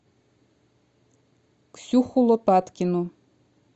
ксюху лопаткину